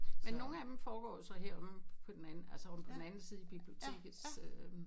Men nogle af dem foregår jo så her omme på den anden altså omme på den anden side i bibliotekets øh